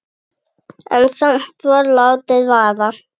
En samt var látið vaða.